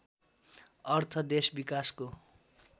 अर्थ देश विकासको